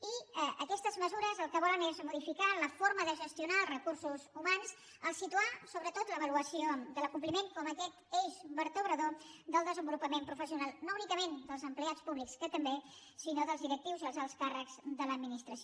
i aquestes mesures el que volen és modificar la forma de gestionar els recursos humans al situar sobretot l’avaluació de l’acompliment com aquest eix vertebrador del desenvolupament professional no únicament per als empleats públics que també sinó dels directius i els alts càrrecs de l’administració